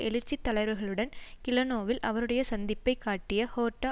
எழுச்சித் தலைவர்களுடன் கிளேனோவில் அவருடைய சந்திப்பை காட்டிய ஹோர்ட்டா